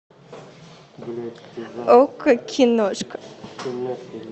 окко киношка